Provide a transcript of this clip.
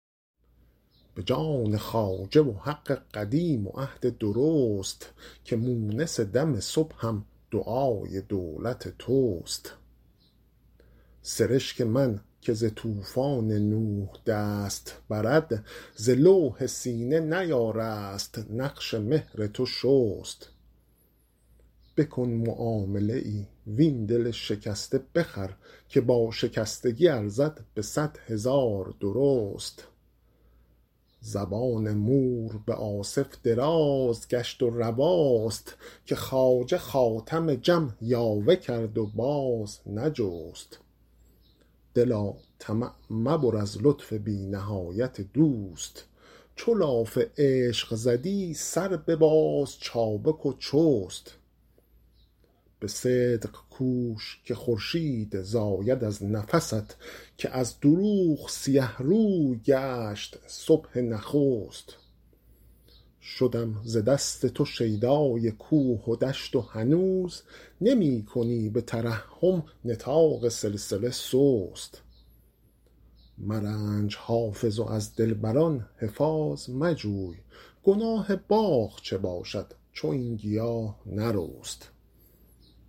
به جان خواجه و حق قدیم و عهد درست که مونس دم صبحم دعای دولت توست سرشک من که ز طوفان نوح دست برد ز لوح سینه نیارست نقش مهر تو شست بکن معامله ای وین دل شکسته بخر که با شکستگی ارزد به صد هزار درست زبان مور به آصف دراز گشت و رواست که خواجه خاتم جم یاوه کرد و باز نجست دلا طمع مبر از لطف بی نهایت دوست چو لاف عشق زدی سر بباز چابک و چست به صدق کوش که خورشید زاید از نفست که از دروغ سیه روی گشت صبح نخست شدم ز دست تو شیدای کوه و دشت و هنوز نمی کنی به ترحم نطاق سلسله سست مرنج حافظ و از دلبر ان حفاظ مجوی گناه باغ چه باشد چو این گیاه نرست